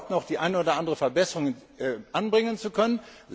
Wir haben geglaubt, noch die eine oder andere Verbesserung anbringen zu können.